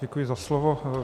Děkuji za slovo.